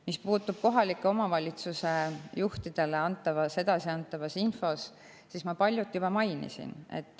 Mis puutub kohaliku omavalitsuse juhtidele edasiantavasse infosse, siis ma paljut juba mainisin.